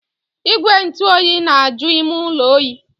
Igwe ntụ oyi na-aju ime ụlọ oyi.